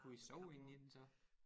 Kunne I sove inde i den så